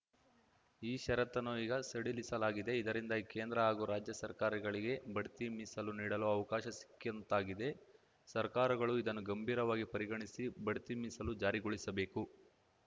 ಈ ಷರತ್ತನ್ನು ಈಗ ಸಡಿಲಿಸಲಾಗಿದೆ ಇದರಿಂದಾಗಿ ಕೇಂದ್ರ ಹಾಗೂ ರಾಜ್ಯ ಸರ್ಕಾರಗಳಿಗೆ ಬಡ್ತಿ ಮೀಸಲು ನೀಡಲು ಅವಕಾಶ ಸಿಕ್ಕಂತಾಗಿದೆ ಸರ್ಕಾರಗಳು ಇದನ್ನು ಗಂಭೀರವಾಗಿ ಪರಿಗಣಿಸಿ ಬಡ್ತಿ ಮೀಸಲು ಜಾರಿಗೊಳಿಸಬೇಕು